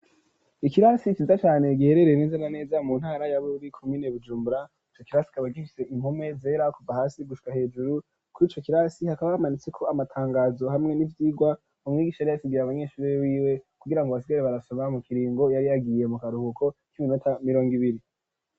Ikirasi ciza cane giherereye neza na neza mu ntara ya, bururi komine bujumbura ico kirasi kikaba bagisize impome zera kuva hasi gushika ,hejuru kuri ico kirasi hakaba hamanitse ko amatangazo hamwe n'ibyigwa mu mwigisha ri yasigaye abanyeshuri biwe kugirango basigare barasama mu kiringo yari yagiye mu karuhuko k'iminota mirongo ibiri